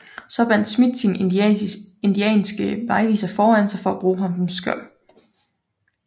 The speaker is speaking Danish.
Så bandt Smith sin indianske vejviser foran sig for at bruge ham som skjold